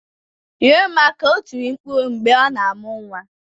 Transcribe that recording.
"Nyere m aka" o tiri mkpu mgbe a na-amụ nwa.